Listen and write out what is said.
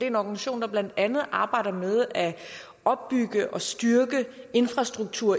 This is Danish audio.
en organisation der blandt andet arbejder med at opbygge og styrke infrastruktur